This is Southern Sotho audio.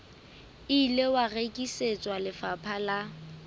ile wa rekisetswa lefapha la